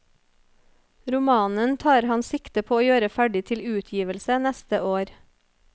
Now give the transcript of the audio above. Romanen tar han sikte på å gjøre ferdig til utgivelse neste år.